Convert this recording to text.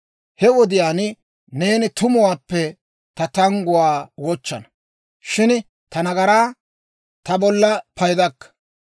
He wodiyaan, neeni tumuwaappe ta tangguwaa wochchana; shin ta nagaraa ta bolla paydakka.